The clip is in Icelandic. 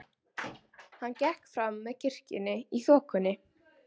Hann gekk fram með kirkjunni í þokunni.